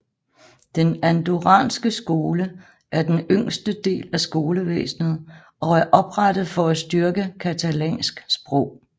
Den andorranske skole er den yngste del af skolevæsnet og er oprettet for at styrke catalansk sprog